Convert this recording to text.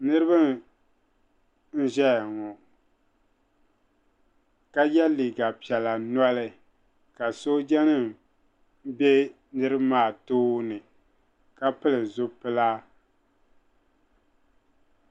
niriba n ʒɛ ŋɔ ka yɛ liga piɛla noli ka pili zibili to ka sojanim kana bɛ niriba maa too ni ka pili zu pilila